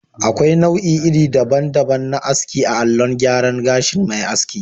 Akwai nau'i iri daban daban na aski allon gyara gashin mai aski